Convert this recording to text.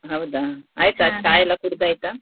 ಹೌದಾ ಆಯ್ತಾ ಚಾ ಎಲ್ಲ ಕುಡ್ದು ಆಯ್ತಾ.